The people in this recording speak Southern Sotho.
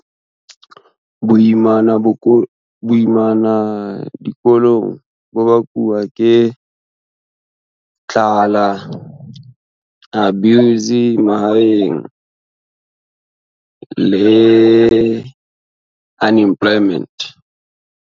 Boimana dikolong bo bakuwa ke tlala, abuse mahaeng le unemployment.